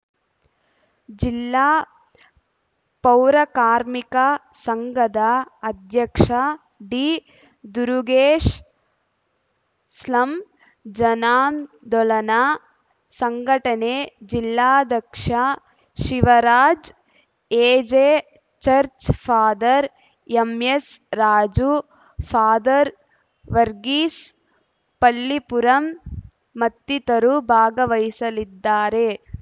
ಜಿಲ್ಲಾ ಪೌರಕಾರ್ಮಿಕ ಸಂಘದ ಅಧ್ಯಕ್ಷ ಡಿದುರುಗೇಶ್‌ ಸ್ಲಂ ಜನಾಂದೋಲನಾ ಸಂಘಟನೆ ಜಿಲ್ಲಾಧ್ಯಕ್ಷ Shivaraj AJ church father MS Raju father Varghese Pallipuram ಮತ್ತಿತರರು ಭಾಗವಹಿಸಲಿದ್ದಾರೆ